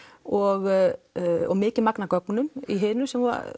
og og mikið magn af gögnum í hinu sem